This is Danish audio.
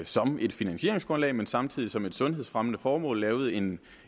som et finansieringsgrundlag men samtidig som et sundhedsfremmende formål lavede en